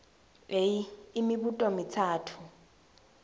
a imibuto mitsatfu